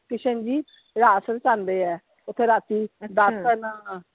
ਕਿਸ਼ਨ ਜੀ ਰਾਤ ਰਸਾਉਂਦੇ ਆ, ਓਥੇ ਰਾਤੀ .